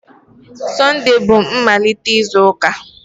Sunday bú mmalite izu ụka.